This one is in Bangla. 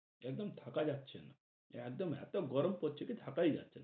একদম থাকা যাচ্ছে না। একদম এত গরম পরছে থাকাই যাচ্ছে না ।